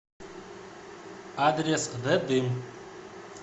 адрес зе дым